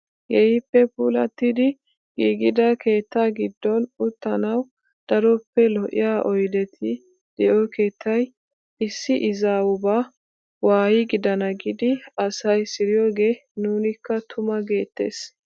Keehippe puulattidi giigida keettaa giddon uttanawu daroppe lo'iyaa oydeti de'iyoo kettay issi izaawubaa waayi gidana giidi asay siriyoogee nunikka tuma geettees.